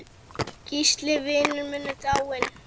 Gísli vinur minn er dáinn.